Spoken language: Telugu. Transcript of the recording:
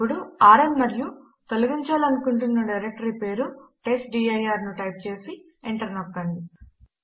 ఇప్పుడు ఆర్ఎం మరియు తొలగించలుకుంటున్న డైరెక్టరీ పేరు టెస్ట్డిర్ ను టైప్ చేసి ఎంటర్ నొక్కండి